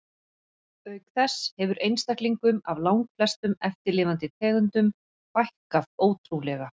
Auk þess hefur einstaklingum af langflestum eftirlifandi tegundum fækkað ótrúlega.